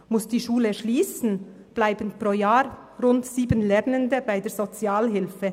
Muss diese Schule schliessen, landen pro Jahr rund sieben Lernende bei der Sozialhilfe.